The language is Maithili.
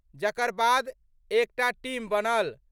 जकर बाद एकटा टीम बनल।